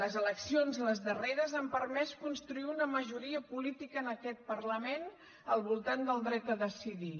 les eleccions les darreres han permès construir una majoria política en aquest parlament al voltant del dret a decidir